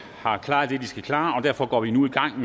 har klaret det de skal klare derfor går vi nu i gang